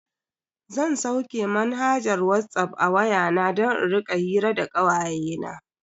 Zan sauke manhajar Whatsapp a waya na don in rika hira da kawayena.